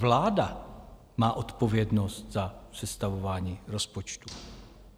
Vláda má odpovědnost za sestavování rozpočtu.